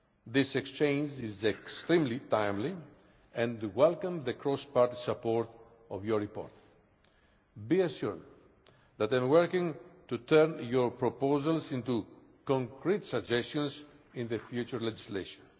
This exchange is extremely timely and I welcome the cross party support for your report. Be assured that we are working to turn your proposals into concrete suggestions in the future legislation.